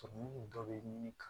dɔ bɛ ɲini